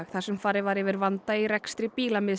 þar sem farið var yfir vanda í rekstri